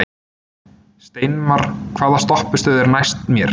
Steinmar, hvaða stoppistöð er næst mér?